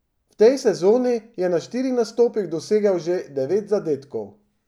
V tej sezoni je na štirih nastopih dosegel že devet zadetkov.